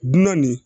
Dunan nin